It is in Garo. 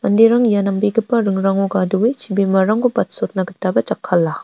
manderang ia nambegipa ringrango gadoe chibimarangko batsotna gitaba jakkala.